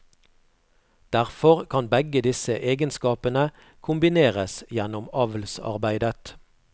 Derfor kan begge disse egenskapene kombineres gjennom avlsarbeidet.